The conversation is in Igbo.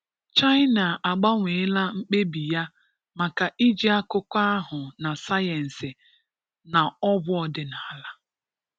China agbanweela mkpebi ya maka iji akụkụ ahụ na sayensị na ọgwụ ọdịnala